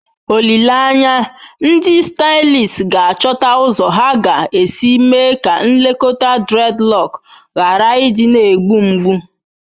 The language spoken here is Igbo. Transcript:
Olileanya, ndị stylists ga-achọta ụzọ ha ga-esi mee ka nlekọta dreadlock ghara ịdị na-egbu mgbu.